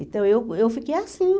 Então, eu eu fiquei assim.